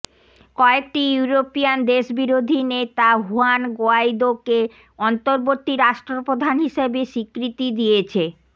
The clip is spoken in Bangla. কয়েকটি ইউরোপিয়ান দেশ বিরোধী নেতা হুয়ান গোয়াইদোকে অন্তর্বর্তী রাষ্ট্রপ্রধান হিসেবে স্বীকৃতি দিয়েছে